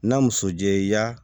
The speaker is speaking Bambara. Na muso jɛ i ka